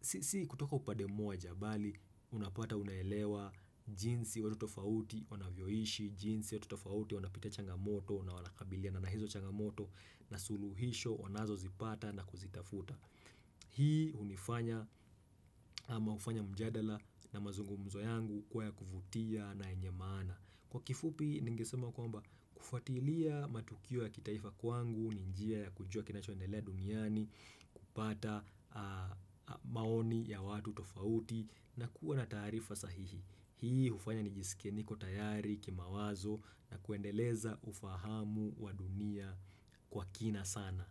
sisi kutoka upande moja bali unapata unaelewa jinsi watu tofauti wanavyoishi jinsi watu tofauti wanapata changamoto na wanakabiliana hizo changamoto na suluhisho wanazozipata na kuzitafuta Hii hunifanya ama ufanya mjadala na mazungumzo yangu kuwa ya kuvutia na yenye maana Kwa kifupi ningesema kwamba kufuatilia matukio ya kitaifa kwangu ni njia ya kujua kinachoendelea duniani kupata maoni ya watu tofauti na kuwa na taarifa sahihi Hii ufanya nijisike niko tayari kimawazo na kuendeleza ufahamu wa dunia kwa kina sana.